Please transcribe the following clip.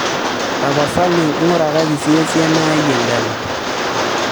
tapasali ing'urakaki siiyie esiana ai endala